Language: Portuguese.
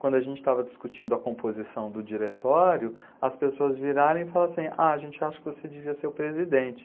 Quando a gente estava discutindo a composição do diretório, as pessoas viraram e falaram assim, ah, a gente acha que você devia ser o presidente.